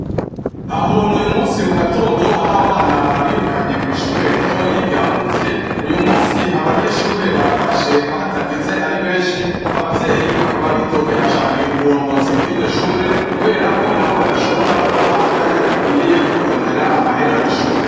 Aho ni uyu munsi mu gatondo aho abana babirukanye kw'shure ritoyi rya. Muzye uyu munsi Abanyeshure batashe hatageze ari benshi abavyeyi bakaba bidogera cane uburongozi bw'iryo shure, kubera ko na bo badashobora kubaha akanya gakwiriye ko kurondera amahera y'ishure.